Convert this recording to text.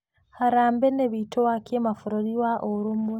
Harambee nĩ wĩto wa kĩmabũrũri wa ũrũmwe.